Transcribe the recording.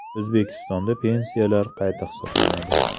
O‘zbekistonda pensiyalar qayta hisoblanadi.